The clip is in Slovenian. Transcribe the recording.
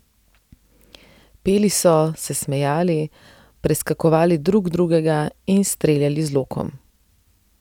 Peli so, se smejali, preskakovali drug drugega in streljali z lokom.